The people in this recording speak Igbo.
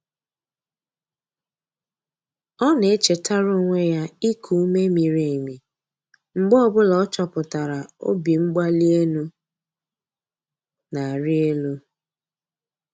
Ọ na-echetara onwe ya iku ume miri emi mgbe ọ bụla ọ chọpụtara obimgbalienu na-arị elu.